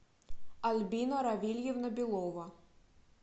альбина равильевна белова